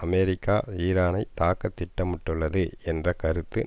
America ஈரானை தாக்க திட்டமிட்டுள்ளது என்ற கருத்து